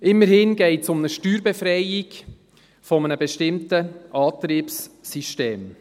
Immerhin geht es um eine Steuerbefreiung eines bestimmten Antriebssystems.